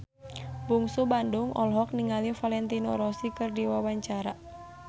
Bungsu Bandung olohok ningali Valentino Rossi keur diwawancara